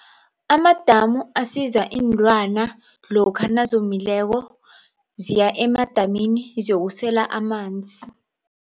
Amadamu asiza iinlwana lokha nazomileko ziya emadamini ziyokusela amanzi.